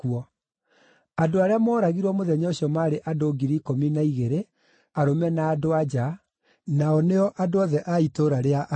Andũ arĩa mooragirwo mũthenya ũcio maarĩ andũ 12,000, arũme na andũ-a-nja; nao nĩo andũ othe a itũũra rĩa Ai.